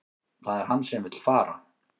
Það er hann sem vill fara